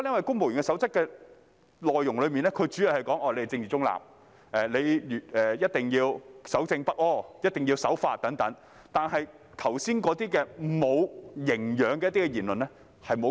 《公務員守則》的內容主要說公務員是政治中立、一定要守正不阿、一定要守法等，但卻沒有規管剛才所述"無營養"的言論。